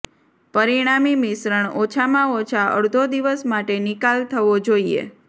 પરિણામી મિશ્રણ ઓછામાં ઓછા અડધો દિવસ માટે નિકાલ થવો જોઈએ